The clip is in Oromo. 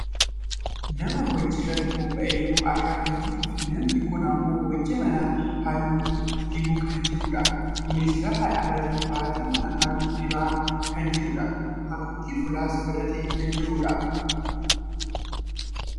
nama hojii irratti bobba'ee jiru argaa kan jirruufi namni kun ammoo hojii mana halluu dibuu kan jirudha . kunis lafa dhaabbatee baaxii mana halluu dibaa kan jirudha. haguuggii fuulaas godhatee kan jirudha.